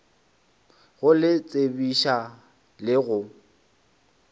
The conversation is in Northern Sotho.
go le tsebiša le go